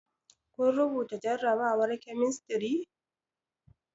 Kun rubuta jarabawar kemistri?